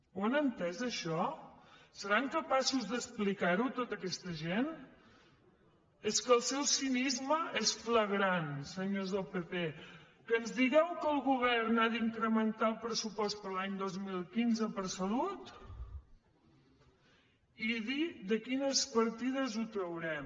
ho han entès això seran capaços d’explicar ho a tota aquesta gent és que el seu cinisme és flagrant senyors del pp que ens digueu que el govern ha d’incrementar el pressupost per a l’any dos mil quinze per a salut i dir de quines partides ho traurem